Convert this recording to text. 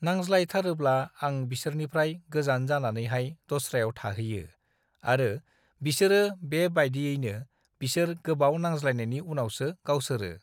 नांज्लायथारोब्ला आं बिसिोरनिफ्राय गोजान जानानैहाय दस्रायाव थाहैयो आरो बिसोरो बेबेबायदिनो बिसोर गोबाव नांज्लायनायनि उनावसो गावसोरो